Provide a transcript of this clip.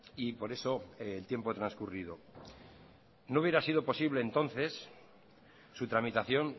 y por eso el tiempo transcurrido no hubiera sido posible entonces su tramitación